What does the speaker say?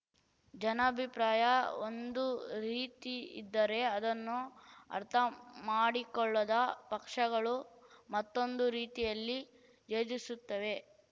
ಜನಾಭಿಪ್ರಾಯ ಒಂದು ರೀತಿಯಿದ್ದರೆ ಅದನ್ನು ಅರ್ಥ ಮಾಡಿಕೊಳ್ಳದ ಪಕ್ಷಗಳು ಮತ್ತೊಂದು ರೀತಿಯಲ್ಲಿ ಯೋಜಿಸುತ್ತಿವೆ